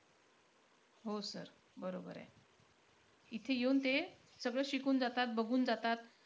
हो sir बरोबर आहे इथे येऊन ते, सगळं शिकून जातात, बघून जातात.